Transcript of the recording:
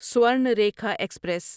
Swarnarekha express